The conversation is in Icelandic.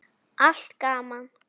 Allt gaman.